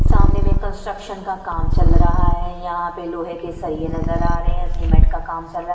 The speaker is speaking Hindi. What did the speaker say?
सामने में कंस्ट्रक्शन का काम चल रहा है यहाँ पे लोहे के सरिए नजर आ रहे हैं सीमेंट का काम चल रहा है।